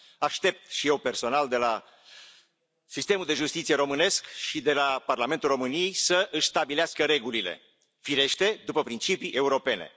Aștept și eu, personal, de la sistemul de justiție românesc și de la Parlamentul României să își stabilească regulile, firește, după principii europene.